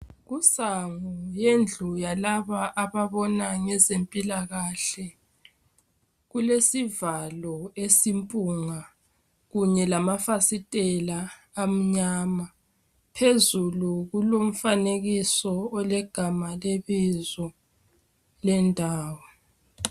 Kusango lendlu yalaba ababona ngezempilakahle kulesivalo esimpunga kunye lamafasitela amnyama. Phezulu kulomfanekiso olegama lebizo lendawo.